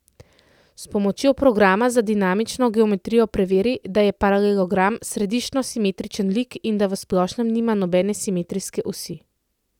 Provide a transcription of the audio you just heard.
S pomočjo programa za dinamično geometrijo preveri, da je paralelogram središčno simetričen lik in da v splošnem nima nobene simetrijske osi.